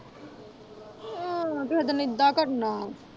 ਆਹ ਕੇਹੇ ਦਿਨ ਇੱਦਾ ਕਰਨਾ।